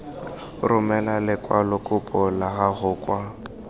romela lekwalokopo la gago kwa